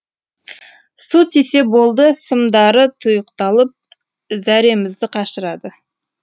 су тисе болды сымдары тұйықталып зәремізді қашырады